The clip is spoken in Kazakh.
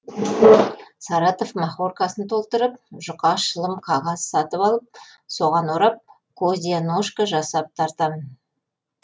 саратов махоркасын толтырып жұқа шылым қағаз сатып алып соған орап козья ножка жасап тартамын